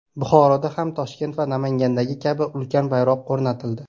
Buxoroda ham Toshkent va Namangandagi kabi ulkan bayroq o‘rnatildi.